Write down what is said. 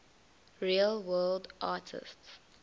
real world artists